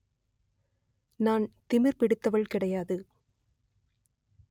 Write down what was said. நான் திமிர் பிடித்தவள் கிடையாது